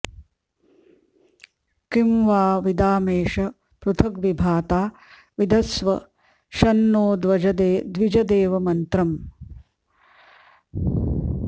किं वा विदामेश पृथग्विभाता विधत्स्व शं नो द्विजदेवमन्त्रम्